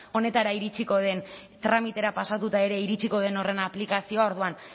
honetara iritsiko den tramitera pasatuta ere iritsiko den horren aplikazioa orduan